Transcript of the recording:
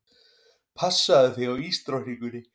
Passaðu þig á ísdrottningunni.